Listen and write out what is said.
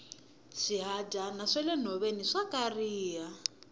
swihadyana swa le nhoveni swa kariha